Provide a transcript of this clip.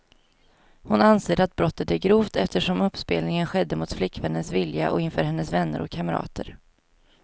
Hon anser att brottet är grovt, eftersom uppspelningen skedde mot flickvännens vilja och inför hennes vänner och kamrater.